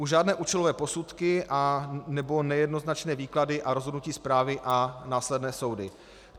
Už žádné účelové posudky nebo nejednoznačné výklady a rozhodnutí správy a následné soudy.